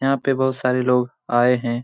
यहाँ पे बहुत सारे लोग आए है ।